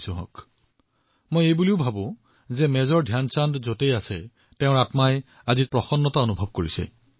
মই চিন্তা কৰিছিলো যে সম্ভৱতঃ এই সময়ত মেজৰ ধ্যান চাঁদজীৰ আত্মা যতেই আছে ততেই প্ৰসন্নতা লাভ কৰিছে